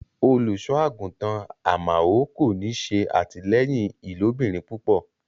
Olúṣọàgúntan Àmaò kò ní sẹ atílẹyìn ilòbìrín púpọ̀.